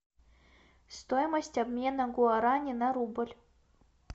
стоимость обмена гуарани на рубль